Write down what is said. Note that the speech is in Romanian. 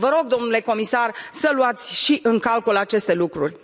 Vă rog, domnule comisar, să luați în calcul și aceste lucruri!